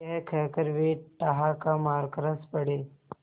यह कहकर वे ठहाका मारकर हँस पड़े